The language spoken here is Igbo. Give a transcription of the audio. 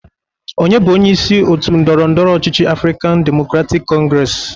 Onye bụ onyeisi otu ndọrọndọrọ ọchịchị Afrịkan Demokratik Kọngres?